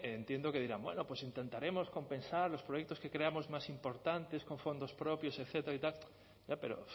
entiendo que dirán bueno pues intentaremos compensar los proyectos que creamos más importantes con fondos propios etcétera ya pero